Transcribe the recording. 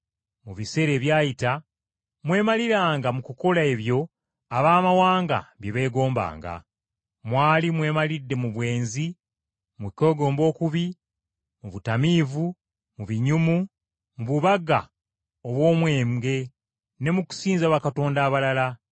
Mu biseera ebyayita mwemaliranga mu kukola ebyo Abaamawanga bye beegombanga. Mwali mwemalidde mu bwenzi, mu kwegomba okubi, mu butamiivu, mu binyumu, mu bubaga obw’omwenge, ne mu kusinza bakatonda abalala.